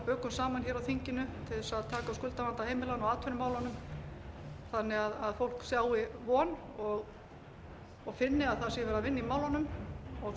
bökum saman á þinginu til að taka á skuldavanda heimilanna og atvinnumálunum þannig að fólk sjái von og finni að það sé verið að vinna í málunum og